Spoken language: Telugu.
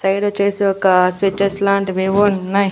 ఇటు సైడొచ్చేసి ఒక స్విచేస్ లాంటివి ఉన్నయ్.